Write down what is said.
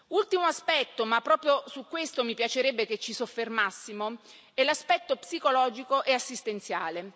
Ultimo aspetto, ma proprio su questo mi piacerebbe che ci soffermassimo, è l'aspetto psicologico e assistenziale.